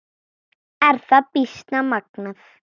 Er það býsna magnað.